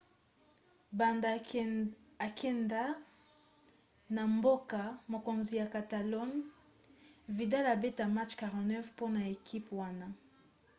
banda akenda na mboka-mokonzi ya catalogne vidal abeta match 49 mpona ekipe wana